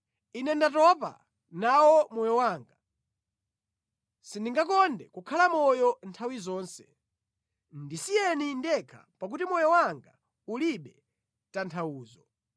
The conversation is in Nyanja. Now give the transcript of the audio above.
Ine ndatopa nawo moyo wanga; sindingakonde kukhala moyo nthawi zonse. Ndisiyeni ndekha pakuti moyo wanga ulibe tanthauzo.